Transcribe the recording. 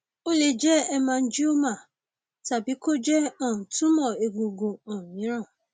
ó lè jẹ hemangioma tàbí kó jẹ um tumor egungun um mìíràn